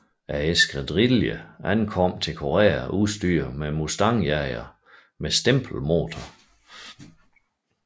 Eskadrillen ankom til Korea udstyret med Mustang jagere med stempelmotorer